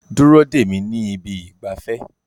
Dúró dè mí ní ibi ìgbafẹ́